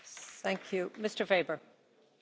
Frau Präsidentin, liebe Kolleginnen, liebe Kollegen!